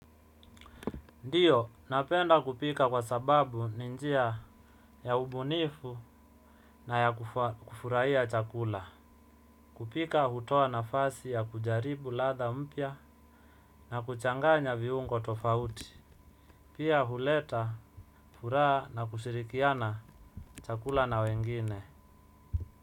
Ndiyo, napenda kupika kwa sababu ni njia ya ubunifu na ya kufurahia chakula. Kupika hutoa nafasi ya kujaribu ladha mpya na kuchanganya viungo tofauti. Pia, huleta furaha na kushirikiana chakula na wengine.